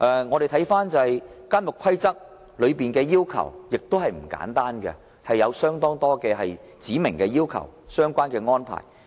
我們看到《監獄規則》的要求也不簡單，有很多指明的要求和相關的安排。